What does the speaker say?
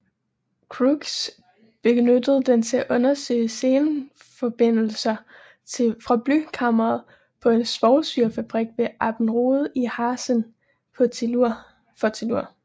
Crookes benyttede den til at undersøge selenforbindelser fra blykammeret på en svovlsyrefabrik ved Abberode i Harzen for tellur